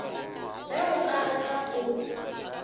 ge o ka rata o